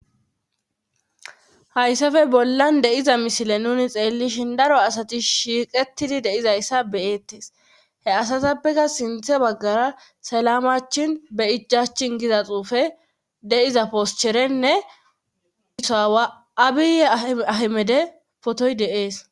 Hayssafe bollan deiza misile nuni xeellishin daro asati shiiqetidi deizayssa beyettes he asatappeka sinthe baggara selamachin be ijachin giza xuufe deiza poscherenne isoawa abiyye ahemede potoy deees